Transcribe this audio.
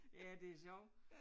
Ja det sjovt